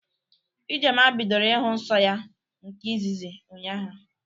Ijeoma bidoro Ịhụ nsọ ya nke ịzịzị ụnyaahụ